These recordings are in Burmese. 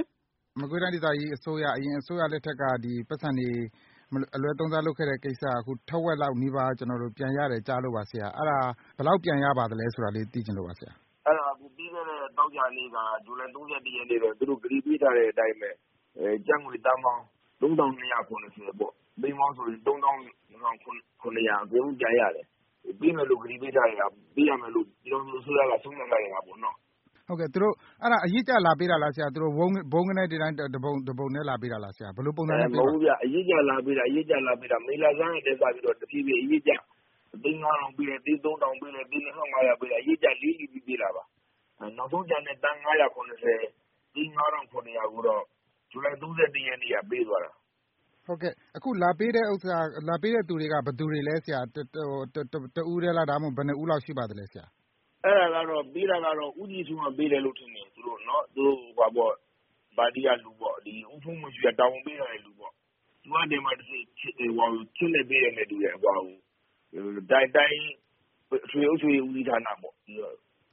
င် ။ ။ မကွေးတိုင်း ဒေသကြီး အစိုးရ အရင် အစိုးရ လက်ထက်က ဒီပိုက်ဆံတွေ အလွဲသုံးစား လုပ်ခဲ့တဲ့ကိစ္စ အခု ထက်ဝက်လောက် နီးပါး ပြန်ရတယ်ကြားလို့ပါ ဆရာ။ အဲဒါ ဘယ်လောက်ပြန်ရပါသလဲ ဆိုတာလေး သိချင်လို့ပါဆရာ။ ဒေါက်တာ အောင်မိုးညို ။ ။ အဲဒါ ပြီးခဲ့တဲ့ သောကြာနေ့မှာ ဇူလိုင် ၃၁ ရက်နေ့ သူတို့ ကတိပေးထားတဲ့အတိုင်းပဲ ကျပ်ငွေသန်းပေါင်း ၃၂၇၀ ပေါ့။ သိန်းပေါင်းဆိုရင် ၃၂၇၀၀ အကုန်လုံး ပြန်ရတယ်။ ပေးမယ်လို့ ကတိပေးထားတဲ့ဟာ။ ပေးရမယ်လို့ ပြည်ထောင်စု အစိုးရက ဆုံးဖြတ်ထားတဲ့ ဟာပေါ့နော။ ကိုဇော်ဝင်းလှိုင် ။ ။ ဟုတ်ကဲ့။ အဲဒါသူတို့ အရစ်ကျ လာပေးတာလား ဆရာ။ သူတို့ ဘုန်းကနည်း တပုံထဲ လာပေးတာလား ဆရာ။ ဘယ်လို ပုံစံနဲ့ ပေးတာလဲ။ ဒေါက်တာ အောင်မိုးညို ။ ။ အဲ မဟုတ်ဘူးဗျ။ အရစ်ကျ လာပေးတာ။ အရစ်ကျ လာပေးတာ။ မေလဆန်းကနေ စပြီး တဖြေးဖြေး အရစ်ကျ သိန်း ၅ ထောင်ပေးလိုက်၊ သိန်း ၃ ထောင်ပေးလိုက်၊ သိန်း ၂ ထောင့် ၅ ရာပေးလိုက် အရစ်ကျ လီလီပြီး ပေးတာပါ။ အဲ နောက်ဆုံးကျန်တဲ့ သန်း ၅၇၀။ သိန်း ၅၇၀၀ ကိုတော့ ဇူလိုင်လ ၃၁ ရက် နေ့က ပေးသွားတာ။ ကိုဇော်ဝင်းလှိုင် ။ ။ ဟုတ်ကဲ့။ အခုလာပေးတဲ့ သူတွေက ဘယ်သူတွေလဲ ဆရာ။ တဦးထဲလား။ ဒါမှမဟုတ် ဘယ်နှစ်ဦးလောက် ရှိပါသလဲ ဆရာ။ ဒေါက်တာ အောင်မိုးညို ။ ။ အဲဒါကတော့ ပေးတာကတော့ ဦးကြည်ထွန်းက ပေးတာလို့ ထင်တယ်။ အဲဒါ သူတို့ ပါတီက လူပေါ့။ ဦးဘုန်းမော်ရွှေက တာဝန်ပေးထားတဲ့ သူပေါ့။ သူကနေပြီးတော့ ချက်နဲ့ ပေးတယ်နဲ့ တူတယ်။ ဟိုဟာကို တိုင်း အထွေထွေ အုပ်ချုပ်ရေး ဦးစီးဌာနပေါ့။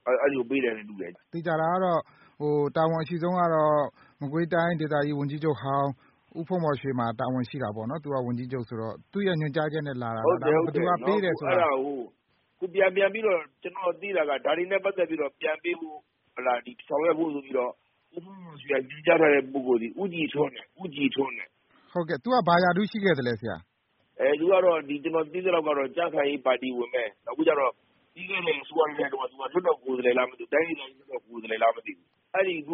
အဲဒီကို ပေးတယ်နဲ့ တူတယ်။ ကိုဇော်ဝင်းလှိုင် ။ ။ သေချာတာကတော့ တာဝန်အရှိဆုံးကတော့ မကွေးတိုင်း ဒေသကြီး ဝန်ကြီးချုပ်ဟောင်း ဦးဘုန်းမော်ရွှေ မှာ တာဝန် ရှိတာပေါ့နော်။ သူက ဝန်ကြီးချုပ်ဆိုတော့ သူ့ရဲ့ညွှန်ကြားချက်နဲ့ လာတာလား။ ဘယ်သူကပေးတယ်ဆိုတာ။ ဒေါက်တာ အောင်မိုးညို ။ ။ ဟုတ်တယ် ဟုတ်တယ်။ အဲဒါကို ခုပြန်ပြန်ပြီးတော့ ကျနော်သိတာက ဒါတွေနဲ့ ပတ်သက်ပြီးတော့ ပြန်ပေးဖို့ ဟုတ်လား ဆောင်ရွက်ဖို့ ဆိုပြီးတော့ ဦးဘုန်းမော်ရွှေ ညွှန်ကြားထားတဲ့ ပုဂ္ဂိုလ် ဦးကြည်ထွန်းတဲ့၊ ဦးကြည်ထွန်းတဲ့။ ကိုဇော်ဝင်းလှိုင် ။ ။ ဟုတ်ကဲ့ သူက ဘာရာထူးရှိခဲ့သလဲ ဆရာ။ ဒေါက်တာ အောင်မိုးညို ။ ။ အဲ သူကတော့ ကျနော်သိသလောက်တော့ ကြံ့ခိုင်ရေး ပါတီဝင်ပဲ။ နောက်ပြီးတော့ ပြီးခဲ့တဲ့ အစိုးရ လက်ထက်တုန်းက သူက လွှတ်တော် ကိုယ်စားလှယ်လား မသိဘူး။ တိုင်းဒေသကြီး လွှတ်တော် ကိုယ်စားလှယ်လား မသိဘူး။ အဲဒီ အခု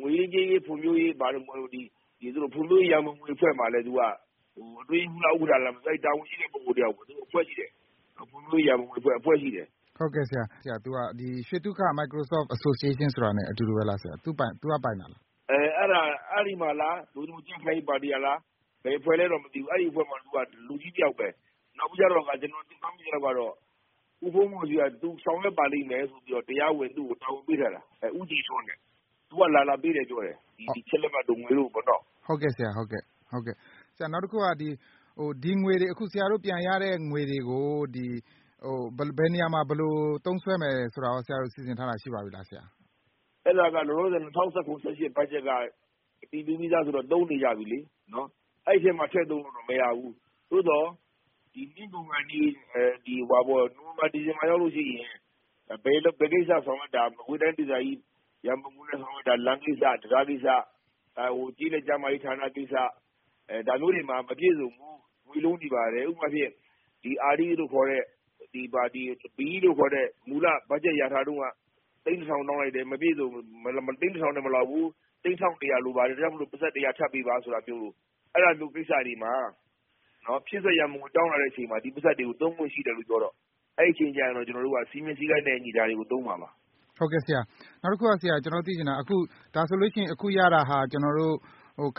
ငွေရေး ကြေးရေး ဖွံ့ဖြိုးရေးတို့ ဘာတို့။ ဖွံ့ ဖြိုးရေး ရံပုံငွေအဖွဲ့မှာလည်း သူက အတွင်းရေးမှုးလား ဥက္ကဌလား ဘာလား တာဝန်ရှိတဲ့ ပုဂ္ဂိုလ်တယောက်ပဲ။ သူတို့ အဖွဲ့ရှိတယ်။ ဖွံ့ ဖြိုးရေးရန်ပုံငွေအဖွဲ့ ။ အဖွဲ့ရှိတယ်။ ကိုဇော်ဝင်းလှိုင် ။ ။ ဟုတ်ကဲ့ဆရာ။ သူက ရွှေသုခ Microsoft Association ဆိုတာ နဲ့ အတူတူပဲလားဆရာ။ သူကပိုင်တာလား။ ဒေါက်တာ အောင်မိုးညို ။ ။ အဲဒီမှာလား။ သို့တည်းမဟုတ် ကြံ့ခိုင်ရေးပါတီကလား ဘယ်အဖွဲ့လဲတော့ မသိဘူး။ အဲဒီအဖွဲ့မှာတော့ သူက လူကြီးတယောက်ပဲ။ နောက်ပြီးကြတော့ တခါ ကျနော် မှတ်မိသလောက်တော့ ဦးဘုန်းမော်ရွှေက သူဆောင်ရွက်ပါလိမ့်မယ်လို့ တရားဝင် သူ့ကို တာဝန်ပေးထားတာ။ အဲ ဦးကြည်ထွန်းတဲ့။ သူက လာလာပေးတယ် ပြောတယ်။ ဒီချက်လက်မှတ်တို့ ငွေတို့ပေါ့နော။ ကိုဇော်ဝင်းလှိုင် ။ ။ အော် ဟုတ်ကဲ့ဆရာ ဟုတ်ကဲ့။ နောက်တခုက ဒီငွေတွေ ဆရာတို့ ပြန်ရတဲ့ ငွေတွေကို ဘယ်နေရာမှာ ဘယ်လို သုံးစွဲမယ် ဆိုတာကို ကော ဆရာတို့ စီစဉ်ထားတာ ရှိပါပြီလား။ ဒေါက်တာ အောင်မိုးညို ။ ။ အဲဒါက လောလောဆယ် ၂၀၁၇-၁၈ ဘတ်ဂျက်က အတည်ပြုပြီးသား ဆိုတော့ သုံးနေကြပြီလေ။ အဲဒီ အထဲမှာ ထည့်သုံးလို့တော့ မရဘူး။ သို့သော် နှစ်ကုန်ခါနီး ဟိုဟာပေါ့ နိုဝင်ဘာ၊ ဒီဇင်ဘာ ရောက်လို့ရှိရင် ဘယ်ကိစ္စ ဆောင်ရွက်တာ မကွေးတိုင်း ဒေသကြီး ရံပုံငွေ နဲ့ ဆောင်ရွက်တာ လမ်းကိစ္စ၊ တံတားကိစ္စ၊ ဟို ကျေးလက် ကျန်းမာရေးဌာန ကိစ္စ ဒါမျိုးတွေမှာ မပြည့်စုံဘူး ငွေလိုနေပါတယ်။ ဥပမာအားဖြင့် အာဒီးလို့ခေါ်တဲ့ ဘီအီးလို့ခေါ်တဲ့ မူလ ဘတ်ဂျက်လျာထားတုန်းက သိန်းတထောင် တောင်းလိုက်တယ်။ မပြည့်စုံ သိန်းတထောင်နဲ့ မလောက်ဘူး။ သိန်းတထောင့် တရာလိုပါတယ်။ ဒါကြောင့် ပိုက်ဆံ တရာထပ်ပေးပါ ဆိုတာမျိုး။ အဲဒါမျိုး ကိစ္စတွေမှာ ဖြည့်စွက် ရံပုံငွေ တောင်းလာတဲ့ အချိန်မှာ ဒီပိုက်ဆံတွေကို သုံးဖို့ရှိတယ်လို့ ပြောတော့ အဲဒီအချိန်ကျရင် စည်းမျဉ်းစည်းကမ်းနဲ့ အညီ ဒါတွေကို သုံးမှာပါ။ ကိုဇော်ဝင်းလှိုင် ။ ။ ဟုတ်ကဲ့ဆရာ။ နောက်တခုက ကျနော်တို့ သိချင်တာက ဒါဆိုလို့ရှိရင် အခုရတာက ကျနော်တို့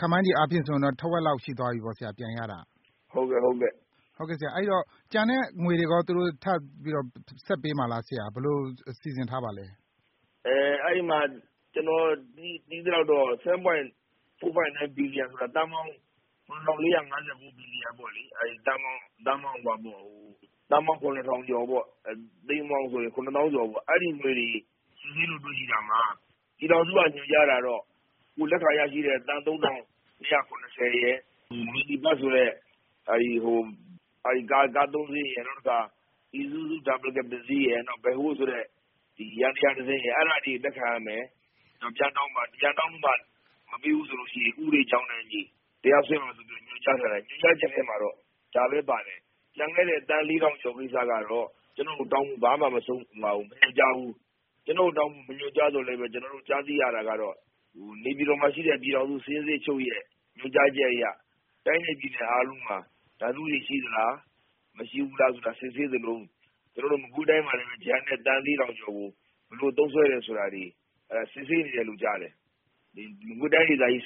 ခန့်မှန်းခြေ အားဖြင့်ဆိုရင် ထက်ဝက်လောက် ရှိသွားပြီပေါ့ဆရာ။ ပြန်ရတာက။ ဒေါက်တာ အောင်မိုးညို ။ ။ ဟုတ်ကဲ့။ ကိုဇော်ဝင်းလှိုင် ။ ။ ဟုတ်ကဲ့ဆရာ အဲဒီတော့ ကျန်တဲ့ငွေတွေကော သူတို့ ထပ်ပြီးတော့ ဆက်ပေးမှာလားဆရာ။ ဘယ်လို စီစဉ်ထားပါလဲ။ ဒေါက်တာ အောင်မိုးညို ။ ။ အဲ အဲဒီမှာ ကျနော် သိသလောက်တော့ 7.459 ဘီလီယံ ဆိုတာ သန်းပေါင်း ၇၄၅၉ ပေါ့လေ။ သန်းပေါင်း ၇ ထောင်ကျော်ပေါ့။ သိန်းပေါင်းဆိုရင် ၇ သောင်းကျော်ပေါ့။ အဲဒီ ငွေတွေ စစ်ဆေးလို့ တွေ့ရှိတာမှာ ပြည်ထောင်စုက ညွှန်ကြားတာမှာတော့ အခုလက်ရှိ လက်ခံရရှိတဲ့ ကျပ်သန်းပေါင်း ၃၂၇၀ ရယ်၊ မီနီဘတ်စ် ဆိုတဲ့ ကား ၂ စီးရယ်၊ နောက်တခါ အီဇူဇူး ဒါဘယ်လ်ကက်ဘ် တစီးရယ် နောက် ဘက်ဟိုးဆိုတဲ့ ယန္တရားတစီးရယ်၊ အဲဒါတွေပြန်လက်ခံ ရမယ်။ ပြန်တောင်းပြီးမှ မပေးဘူးဆိုရင် ဥပဒေကြောင်းနဲ့အညီ တရားစွဲ ပါဆိုပြီးတော့ ညွှန်ကြားထားတယ်။ ညွှန်ကြားချက် ထဲမှာတော့ ဒါပဲပါတယ်။ ကျန်ခဲ့တဲ့ သန်း ၄ ထောင်ကျော် ကိစ္စကတော့ ကျနော့ကို တောင်းဖို့ ဘာမှ မညွှန်ကြားဘူး။ မညွှန်ကြားသော်လည်း ကျနော်တို့ ကြားသိရတာကတော့ နေပြည်တော်မှာရှိတဲ့ ပြည်ထောင်စု စာရင်းစစ်ချုပ်ရဲ့ညွှန်ကြားချက်အရ တိုင်းနဲ့ပြည်နယ် အားလုံးဟာ ဒါမျိုးတွေ ရှိလား မရှိဘူးလား ဆိုတာ စစ်ဆေးသလို ကျနော်တို့ မကွေးတိုင်းမှာလည်းပဲ ကျန်တဲ့ သန်း ၄ ထောင်ကျော်ကို ဘယ်လို သုံးစွဲနေတယ်ဆိုတာတွေ စစ်ဆေးနေတယ်လို့ကြားတယ်။မကွေးတိုင်းဒေသကြီး စ